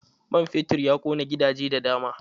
Man fetur ya ƙona gidaje da dama.